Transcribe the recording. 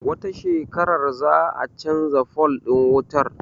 Wata shekarar za a canza fol ɗin wutar